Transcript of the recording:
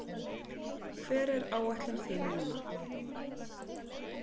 Hver er áætlun þín núna?